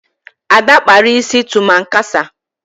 Ada kpara isi tụmankasa.